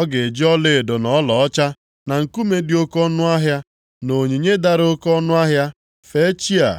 Ọ ga-eji ọlaedo na ọlaọcha, na nkume dị oke ọnụahịa na onyinye dara oke ọnụahịa fee chi a.